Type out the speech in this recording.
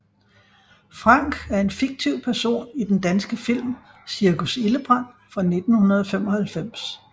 Frank er en fiktiv person i den danske film Cirkus Ildebrand fra 1995